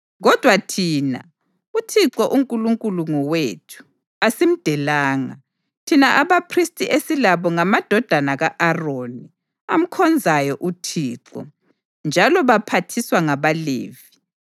Kodwa thina, uThixo uNkulunkulu ngowethu, asimdelanga. Thina abaphristi esilabo ngamadodana ka-Aroni, amkhonzayo uThixo, njalo baphathiswa ngabaLevi.